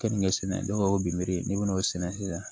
Kenige sɛnɛ o biriki n'i bɛn'o sɛnɛ sisan